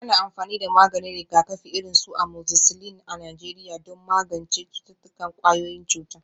Ana amfani da maganin rigakafi, irin su amoxicillin a Najeriya don magance cututtukan ƙwayoyin cuta.